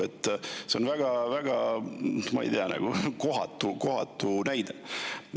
See on teil väga kohatu näide.